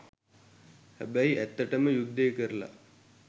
හැබැයි ඇත්තටම යුද්දෙ කරලා